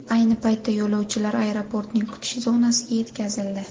Ayni paytda yo‘lovchilar aeroportning kutish zonasiga yetkazildi.